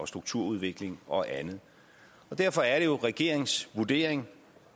strukturudvikling og andet derfor er det jo regeringens vurdering